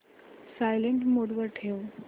silent mode वर ठेव